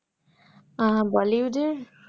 আহ bollywood এর